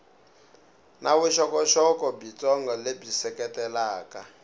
na vuxokoxoko byitsongo lebyi seketelaka